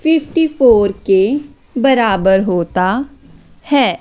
Fifty four के बराबर होता है।